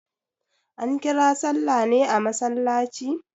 An kira sallah ne a masallaci?